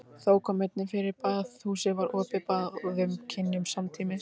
Þó kom einnig fyrir að baðhúsin væru opin báðum kynjum samtímis.